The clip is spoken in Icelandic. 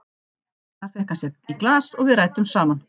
Þar fékk hann sér í glas og við ræddum saman.